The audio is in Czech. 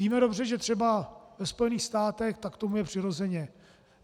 Víme dobře, že třeba ve Spojených státech tak tomu je přirozeně.